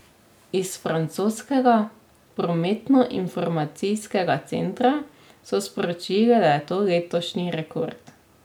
Iz francoskega prometnoinformacijskega centra so sporočili, da je to letošnji rekord.